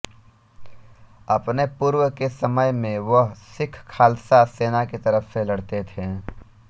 अपने पूर्व के समय में वह सिख खालसा सेना की तरफ से लड़ते थे